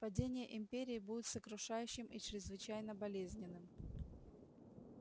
падение империи будет сокрушающим и чрезвычайно болезненным